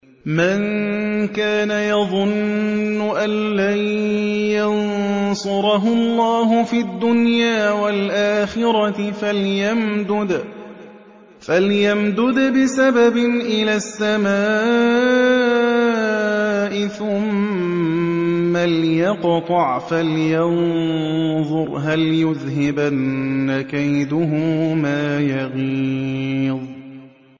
مَن كَانَ يَظُنُّ أَن لَّن يَنصُرَهُ اللَّهُ فِي الدُّنْيَا وَالْآخِرَةِ فَلْيَمْدُدْ بِسَبَبٍ إِلَى السَّمَاءِ ثُمَّ لْيَقْطَعْ فَلْيَنظُرْ هَلْ يُذْهِبَنَّ كَيْدُهُ مَا يَغِيظُ